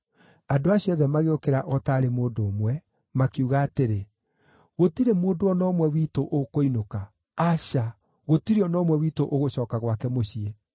Andũ acio othe magĩũkĩra o taarĩ mũndũ ũmwe, makiuga atĩrĩ, “Gũtirĩ mũndũ o na ũmwe witũ ũkũinũka. Aca, gũtirĩ o na ũmwe witũ ũgũcooka gwake mũciĩ.